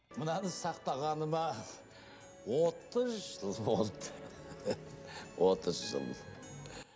мынаны сақтағаныма отыз жыл болды отыз жыл